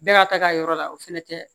Bɛɛ ka taa ka yɔrɔ la o fana tɛ